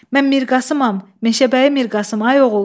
Mən Mirqasıyam, Meşəbəyi Mirqasım, ay oğul.